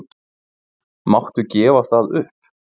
Máttu gefa það upp?